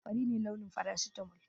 Fari ne launin faracitamal